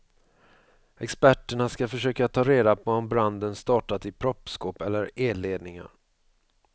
Experterna ska försöka ta reda på om branden startat i proppskåp eller elledningar.